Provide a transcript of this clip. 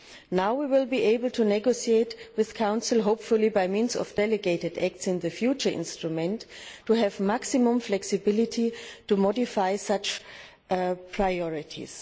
Now we will be able to negotiate with the Council hopefully by means of delegated acts in the future instrument to have maximum flexibility to modify such priorities.